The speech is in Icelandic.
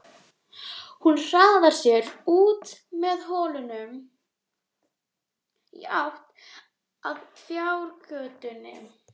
Hún hraðar sér út með hólnum í átt að fjárgötunni.